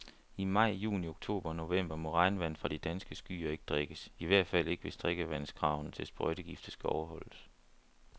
I maj, juni, oktober og november må regnvand fra de danske skyer ikke drikkes, i hvert fald ikke, hvis drikkevandskravene til sprøjtegifte skal overholdes.